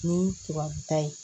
Ni ta ye